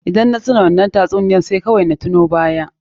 Idan na tuna wannan tatsuniyar sai kawai na tuno baya.